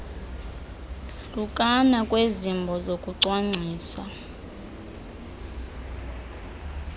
hlukana kwezimbo zokucwangcisa